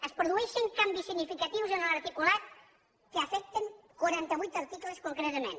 es produeixen canvis significatius en l’articulat que afecten quaranta vuit articles concretament